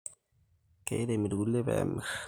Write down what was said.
Keirem irkulie pemir